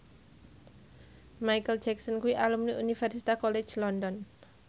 Micheal Jackson kuwi alumni Universitas College London